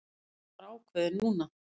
Hann var ákveðinn núna.